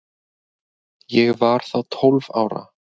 Ég var þá tólf ára.